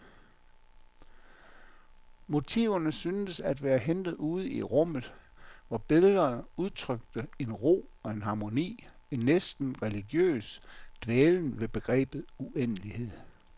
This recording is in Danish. Motiverne syntes at være hentet ude i rummet, hvor billederne udtrykte en ro og en harmoni, en næsten religiøs dvælen ved begrebet uendelighed.